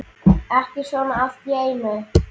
Ekki svona allt í einu.